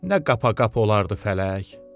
Nə qapa-qapa olardı fələk?